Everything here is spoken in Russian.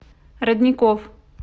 родников